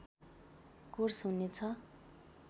course हुने छ